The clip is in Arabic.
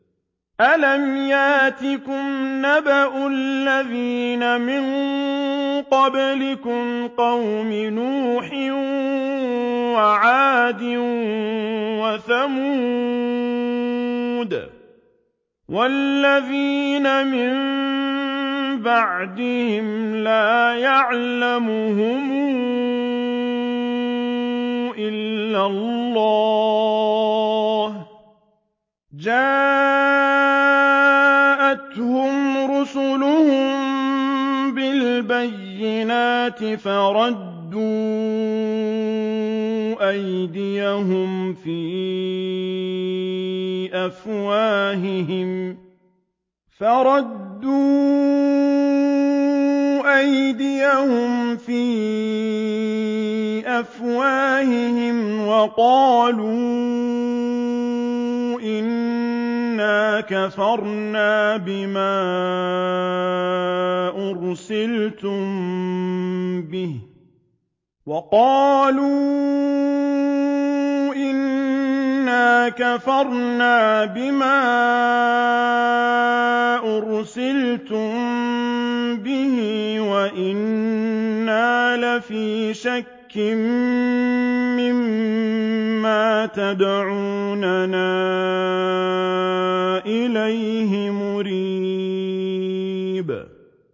أَلَمْ يَأْتِكُمْ نَبَأُ الَّذِينَ مِن قَبْلِكُمْ قَوْمِ نُوحٍ وَعَادٍ وَثَمُودَ ۛ وَالَّذِينَ مِن بَعْدِهِمْ ۛ لَا يَعْلَمُهُمْ إِلَّا اللَّهُ ۚ جَاءَتْهُمْ رُسُلُهُم بِالْبَيِّنَاتِ فَرَدُّوا أَيْدِيَهُمْ فِي أَفْوَاهِهِمْ وَقَالُوا إِنَّا كَفَرْنَا بِمَا أُرْسِلْتُم بِهِ وَإِنَّا لَفِي شَكٍّ مِّمَّا تَدْعُونَنَا إِلَيْهِ مُرِيبٍ